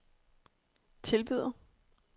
tilbyder